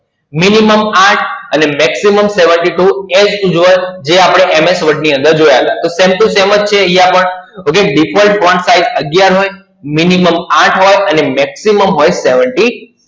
Minimum આઠ અને Maximum બોત્તેર જે આપણે MS Word ની અંદર જોયા હતા. તો Same to Same જ છે અહિયાં પણ, હવે Default Font Size અગિયાર હોય, Minimum આઠ હોય અને Maximum હોય બોત્તેર